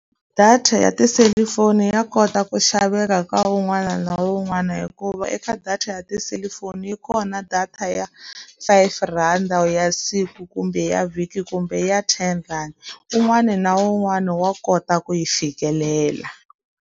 Data ya tiselifoni ya kota ku xaveka ka un'wana na un'wana hikuva eka data ya tiselifoni, yi kona data ya five rand-a ya siku, kumbe ya vhiki kumbe ya ten rand. Un'wana na un'wana wa kota ku yi fikelela.